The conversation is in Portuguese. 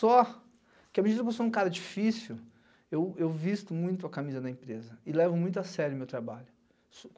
Só que à medida que eu sou um cara difícil, eu visto muito a camisa da empresa e levo muito a sério o meu trabalho.